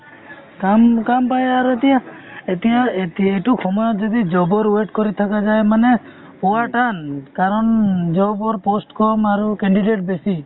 কাম কাম পাই আৰু এতিয়া এতিয়া এত এইটো সময়ত যদি job ৰ wait কৰি থকা যায় মানে পোৱা টান , কাৰণ job ৰ post কম আৰু candidate বেছি